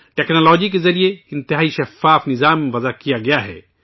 technology کے ذریعے انتہائی شفاف نظام وضع کیا گیا ہے